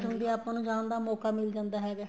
ਆਪਾਂ ਨੂੰ ਜਾਣ ਦਾ ਮੋਕਾ ਮਿਲ ਜਾਂਦਾ ਹੈਗਾ